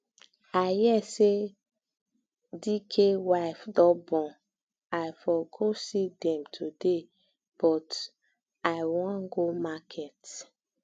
um i hear say dike wife don born um i for go see dem today but i um wan go market